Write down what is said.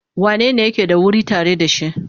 Wanene yake da wuri tare da shi?